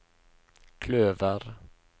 kløver